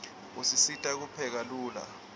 usisita kupheka lula